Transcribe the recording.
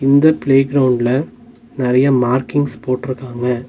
இந்த ப்ளே க்ரௌண்ட்ல நெறைய மார்கிங்ஸ் போட்ருக்காங்க.